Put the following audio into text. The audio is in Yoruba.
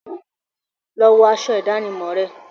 Lọ wọ aṣọ ìdánimọ̀ rẹ!